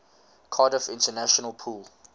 cardiff international pool